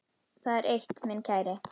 Það er eitt, minn kæri.